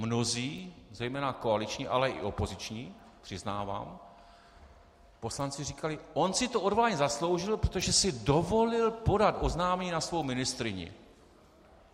Mnozí, zejména koaliční, ale i opoziční, přiznávám, poslanci říkali - on si to odvolání zasloužil, protože si dovolil podat oznámení na svou ministryni.